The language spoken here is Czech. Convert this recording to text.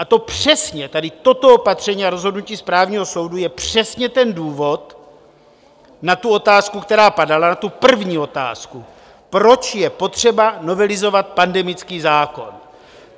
A to přesně, tady toto opatření a rozhodnutí správního soudu, je přesně ten důvod na tu otázku, která padala, na tu první otázku, proč je potřeba novelizovat pandemický zákon.